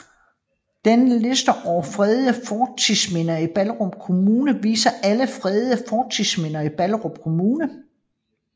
Denne liste over fredede fortidsminder i Ballerup Kommune viser alle fredede fortidsminder i Ballerup Kommune